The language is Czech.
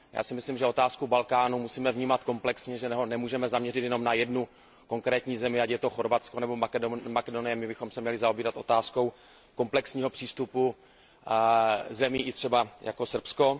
Já si myslím, že otázku Balkánu musíme vnímat komplexně, že se nemůžeme zaměřit jenom na jednu konkrétní zemi, ať je to Chorvatsko nebo Makedonie, my bychom se měli zaobírat otázkou komplexního přístupu zemí jako třeba i Srbsko.